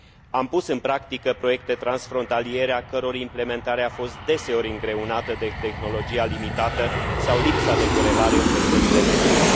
Am pus în practică proiecte transfrontaliere a căror implementare a fost deseori îngreunată de tehnologia limitată sau lipsa de corelare între țările vecine.